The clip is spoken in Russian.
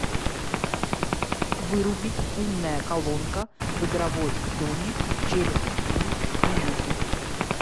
вырубить умная колонка в игровой зоне через три минуты